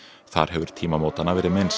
þar hefur tímamótanna verið minnst